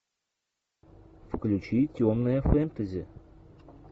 включи темное фентези